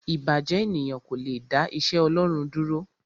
Ìbàjẹ́ ènìyàn kò le dá iṣẹ́ Ọlọ́run dúró.